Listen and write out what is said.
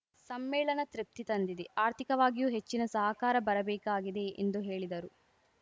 ಸಮ್ಮೇಳನ ತೃಪ್ತಿ ತಂದಿದೆ ಆರ್ಥಿಕವಾಗಿಯೂ ಹೆಚ್ಚಿನ ಸಹಕಾರ ಬರಬೇಕಾಗಿದೆ ಎಂದು ಹೇಳಿದರು